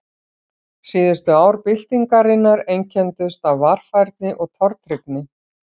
Síðustu ár byltingarinnar einkenndust af varfærni og tortryggni.